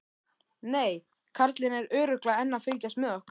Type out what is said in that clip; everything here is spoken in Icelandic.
Nei, karlinn er örugglega enn að fylgjast með okkur.